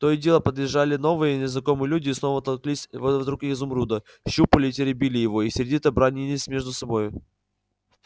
то и дело подъезжали новые незнакомые люди и снова толклись вокруг изумруда щупали и теребили его и сердито бранились между собою